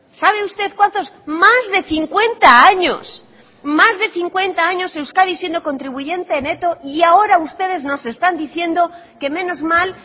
sabe usted cuántos más de cincuenta años más de cincuenta años euskadi siendo contribuyente neto y ahora ustedes nos están diciendo que menos mal